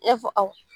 I y'a fɔ awɔ